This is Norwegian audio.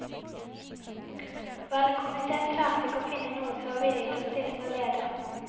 Valgkomiteen klarte ikke å finne noen som var villige til å stille som leder.